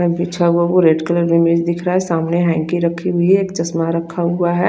बिछा हुआ वो रेड कलर का दिख रहा है सामने हेन्की रखी हुई है चस्मा रखा हुआ है।